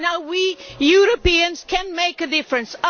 We Europeans can make a difference.